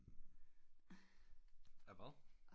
Af hvad